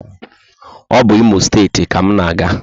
O bu Imo steeti ka mụ na aga